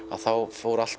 fór allt